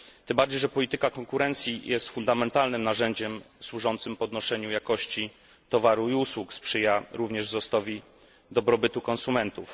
Tym bardziej, że polityka konkurencji jest fundamentalnym narzędziem służącym podnoszeniu jakości towaru i usług, sprzyja również wzrostowi dobrobytu konsumentów.